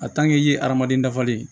i ye adamaden dafalen ye